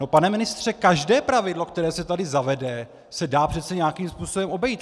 No pane ministře, každé pravidlo, které se tady zavede, se dá přece nějakým způsobem obejít.